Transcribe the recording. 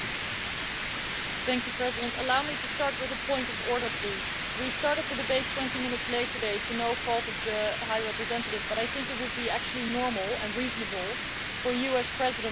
Mr President, please allow me to start with a point of order. We started the debate 20 minutes late today, through no fault of the High Representative, but I think it would actually be normal and reasonable for you as President to inform Members.